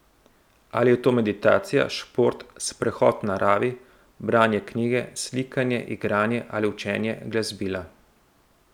Ali je to meditacija, šport, sprehod v naravi, branje knjige, slikanje, igranje ali učenje glasbila.